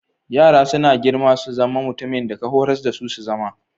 Yara suna girma su zama mutumin da ka horas dasu su zama.